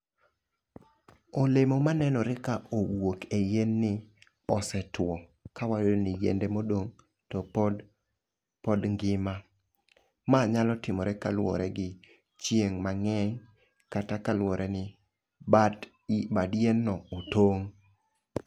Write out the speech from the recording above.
Olemo manenore ka owuok e yien ni osetwo ka ni yiende modong' to pod pod ngima. Ma nyalo timore kaluwore gi chieng' mang'eny kata kaluwore ni bat bad yien no otong' .